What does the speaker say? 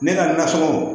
Ne ka nasɔngɔ